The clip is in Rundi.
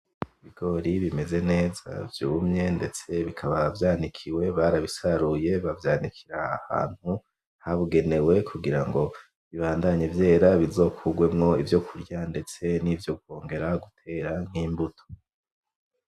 Ibigori bimeze neza vyumye ndetse bikaba vyanikiwe barabisaruye bavyanikira aha hantu hagenewe kugira bibadanye vyera bizokugwemo ivyokurya ndetse nivyo kwongera gutera nk'imbuto.